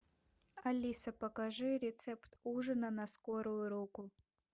алиса покажи рецепт ужина на скорую руку